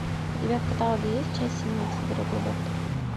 у тебя в каталоге есть часть семнадцать дорогой доктор